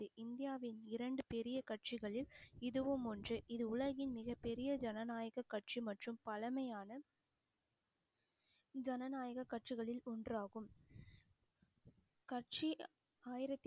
இந்தியாவின் இரண்டு பெரிய கட்சிகளில் இதுவும் ஒன்று இது உலகின் மிகப் பெரிய ஜனநாயக கட்சி மற்றும் பழமையான ஜனநாயக கட்சிகளில் ஒன்றாகும் கட்சி ஆயிரத்தி